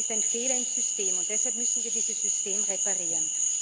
Es ist ein Fehler im System, und deshalb müssen wir dieses System reparieren.